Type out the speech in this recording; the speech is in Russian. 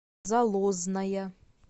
залозная